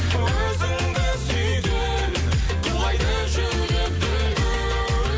өзіңді сүйген құлайды жүрек дүл дүл